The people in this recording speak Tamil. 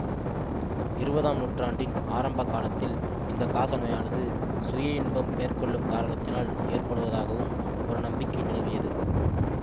இருபதாம் நூற்றாண்டின் ஆரம்ப காலத்தில் இந்த காச நோயானது சுய இன்பம் மேற்கொள்ளும் காரணத்தினால் ஏற்படுவதாகவும் ஒரு நம்பிக்கை நிலவியது